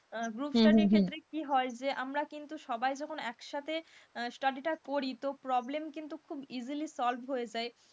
Group study ক্ষেত্রে কি হয় যে আমরা কিন্তু সবাই যখন একসাথে study টা করি তো problem কিন্তু খুব easily হয়ে যায়,